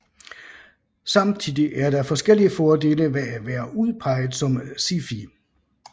Samtidig er der forskellige fordele ved at være udpeget som SIFI